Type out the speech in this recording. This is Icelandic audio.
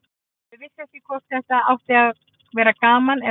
Þau vissu ekki hvort þetta átti að vera gaman eða alvara.